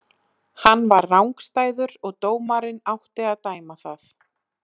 Hann var rangstæður og dómarinn átti að dæma það.